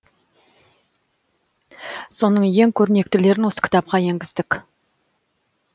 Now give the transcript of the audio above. соның ең көрнектілерін осы кітапқа енгіздік